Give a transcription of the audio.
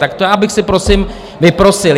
Tak to já bych si prosím vyprosil.